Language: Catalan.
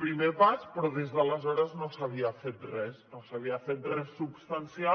primer pas però des d’aleshores no s’havia fet res no s’havia fet res substancial